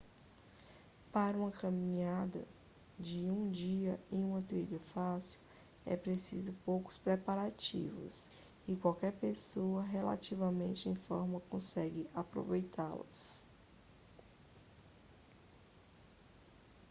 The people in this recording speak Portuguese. para uma caminhada de um dia em uma trilha fácil é preciso poucos preparativos e qualquer pessoa relativamente em forma consegue aproveitá-las